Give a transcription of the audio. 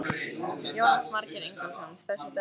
Jónas Margeir Ingólfsson: Stærsti dagur lífs þíns?